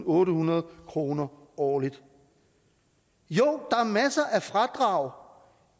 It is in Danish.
ottehundrede kroner årligt jo er masser af fradrag